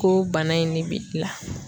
Ko bana in ne b'i la.